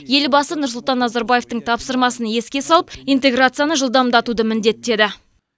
елбасы нұрсұлтан назарбаевтың тапсырмасын еске салып интеграцияны жылдамдатуды міндеттеді